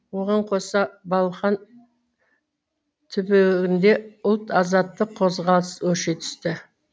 оған қоса балқан түбегінде ұлт азаттық қозғалыс өрши түсті